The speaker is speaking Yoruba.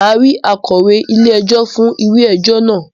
Màá ri akọ̀wé ilé ẹjọ́ fún ìwé ẹjọ́ náà